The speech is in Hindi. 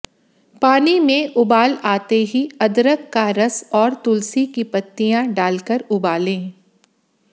पानी में उबाल आते ही अदरक का रस और तुलसी की पत्तियां डालकर उबालें